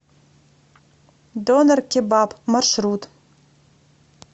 донэр кебаб маршрут